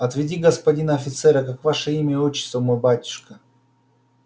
отведи господина офицера как ваше имя и отчество мой батюшка